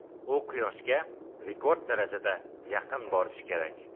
U Quyoshga rekord darajada yaqin borishi kerak.